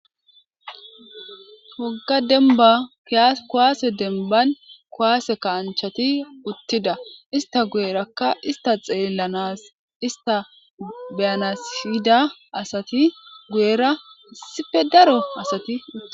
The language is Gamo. Wogga denba pia kuwaase denban kowaase kaanchati uttida ista guyerakka ista xeellanas ista biyanasfida asati guyera issife daro asati utti